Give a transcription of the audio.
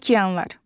Okeanlar.